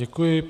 Děkuji.